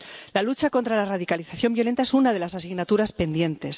La lucha contra la radicalización violenta es una de las asignaturas pendientes.